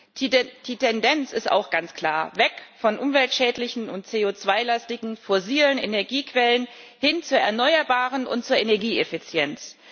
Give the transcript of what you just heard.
Auch die Tendenz ist ganz klar Weg von umweltschädlichen und CO2 lastigen fossilen Energiequellen, hin zu Erneuerbaren und zur Energieeffizienz.